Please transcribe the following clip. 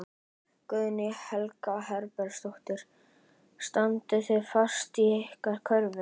Guðný Helga Herbertsdóttir: Standið þið fast á ykkar kröfum?